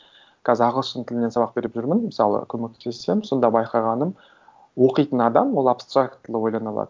қазір ағылшын тілінен сабақ беріп жүрмін мысалы көмектесемін сонда байқағаным оқитын адам ол абстрактылы ойлана алады